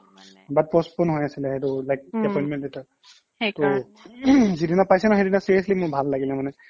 but postpone হৈ আছিলে সেইটো like উম্ appointment letter যিদিনা পাইছে ন সেইদিনা মোৰ safely ভাল লাগিলে মানে